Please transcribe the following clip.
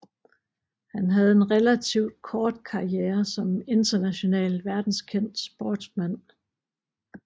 Han havde en relativt kort karriere som international verdenskendt sportsmand